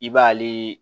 I b'ale